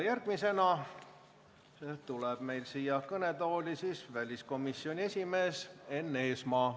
Järgmisena tuleb kõnetooli väliskomisjoni esimees Enn Eesmaa.